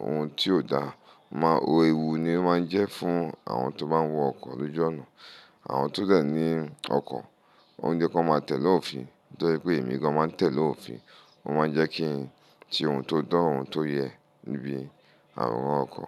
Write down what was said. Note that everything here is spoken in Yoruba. ohun tí ò dáa, ó máa ń wo ewu ni ó máa ń jẹ́ fún àwọn tó bá wọ ọkọ̀ lójú ọ̀nà. Àwọn tó dẹ̀ ní ọkọ̀ óún jẹ́ kó máa tẹ̀lé òfin, tó jẹ́ wípé ẹ̀mí gan máa ń tẹ̀lé òfin ó máa ń jẹ́ kí i ṣe ohun tó to, ohun tó yẹ níbi àwọn ọkọ̀.